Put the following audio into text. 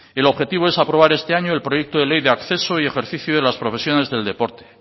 el objetivo es aprobar este año el proyecto de ley de acceso y ejercicio de las profesiones del deporte